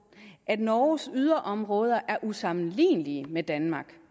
at norges yderområder er usammenlignelige med danmark